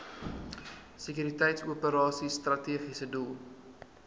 sekuriteitsoperasies strategiese doel